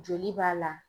Joli b'a la